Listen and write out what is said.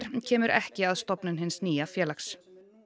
kemur ekki að stofnun hins nýja félags